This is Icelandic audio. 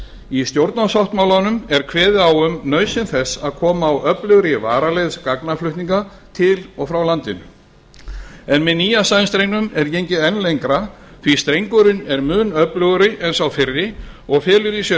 í stjórnarsáttmálanum er kveðið á um nauðsyn þess að koma á öflugri varaleið gagnaflutninga til og frá landinu en með nýja sæstrengnum er gengið enn lengra því strengurinn er mun öflugri en sá fyrri og felur í sér